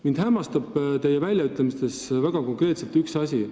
Mind hämmastab teie väljaütlemistes konkreetselt üks asi.